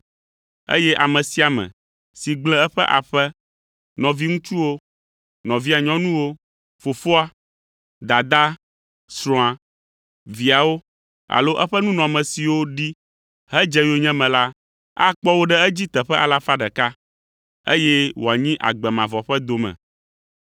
eye ame sia ame si gblẽ eƒe aƒe, nɔviŋutsuwo, nɔvia nyɔnuwo, fofoa, dadaa, srɔ̃a, viawo alo eƒe nunɔamesiwo ɖi hedze yonyeme la, akpɔ wo ɖe edzi teƒe alafa ɖeka (100), eye wòanyi agbe mavɔ ƒe dome.